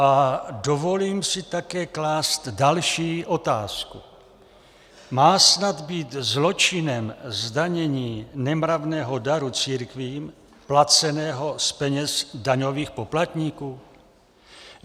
A dovolím si také klást další otázku: Má snad být zločinem zdanění nemravného daru církvím, placeného z peněz daňových poplatníků?